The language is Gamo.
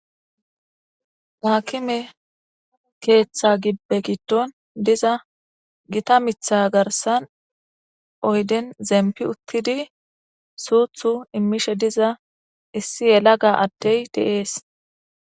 Akime ketha gidon diza gita mitha garsan uyden zepi utidi suthu imishe diza issi yelaga adey de'es